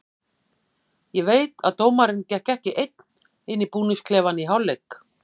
Ég veit að dómarinn gekk ekki einn inn í búningsklefann í hálfleik.